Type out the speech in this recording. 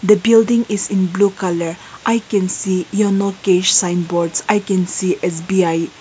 the building is in blue colour i can see yono cash sign boards I can see S_B_I.